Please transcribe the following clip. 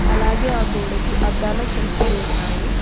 అలాగే ఆ గోడకి అద్దాల షెల్ఫ్ లు ఉన్నాయి.